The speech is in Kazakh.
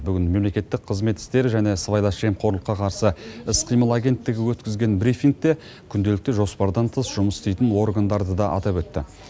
бүгін мемлекеттік қызмет істері және сыбайлас жемқорлыққа қарсы іс қимыл агенттігі өткізген брифингте күнделікті жоспардан тыс жұмыс істейтін органдарды да атап өтті